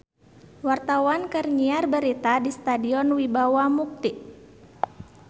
Wartawan keur nyiar berita di Stadion Wibawa Mukti